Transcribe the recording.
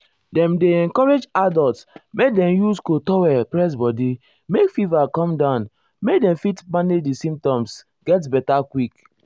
dem dey encourage adults make dem use cold towel press body make fever come down make dem fit manage di symptoms symptoms get beta quick.